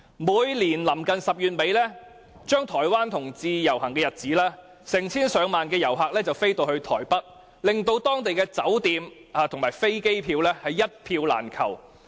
每年臨近10月底台灣同志遊行的日子，成千上萬的旅客會飛到台北，令當地酒店爆滿，往台北的飛機票更是一票難求。